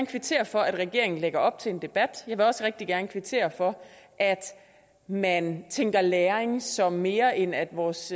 kvittere for at regeringen lægger op til en debat jeg vil også rigtig gerne kvittere for at man tænker læring som mere end at vores